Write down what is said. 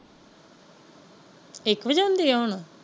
ਇੱਕ ਵੱਜੇ ਹੁੰਦੀ ਹੈ ਹੁਣ।